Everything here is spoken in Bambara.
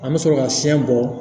An bɛ sɔrɔ ka fiɲɛ bɔ